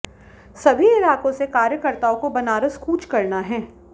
सभी इलाकों से कार्यकर्ताओं को बनारस कूच करना है